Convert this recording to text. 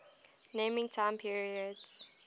naming time periods